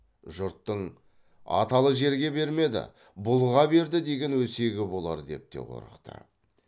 жұрттың аталы жерге бермеді бұлға берді деген өсегі болар деп те қорықты